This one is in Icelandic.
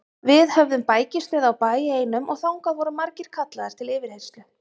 Við höfðum bækistöð á bæ einum og þangað voru margir kallaðir til yfirheyrslu.